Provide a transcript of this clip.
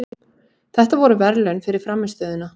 Þetta voru verðlaun fyrir frammistöðuna.